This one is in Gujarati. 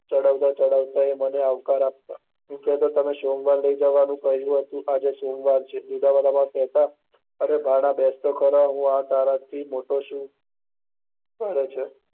ચડાવતા ચડાવતા મને આવકત આપતો, તમે કેહતા હતા સોમવારે લઇ જવાનું કહીંયુ હતું, આજ એસોમવાર છે ઉદ્દમામાં કેહતા અરે ભાણા બેસતો ખરા, તારા થી મોટો શું છે.